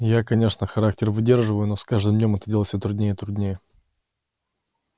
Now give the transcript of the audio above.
я конечно характер выдерживаю но с каждым днём это делать все труднее и труднее